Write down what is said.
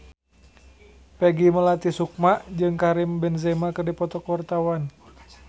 Peggy Melati Sukma jeung Karim Benzema keur dipoto ku wartawan